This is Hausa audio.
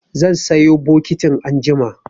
Zan sayo bokitin anjima.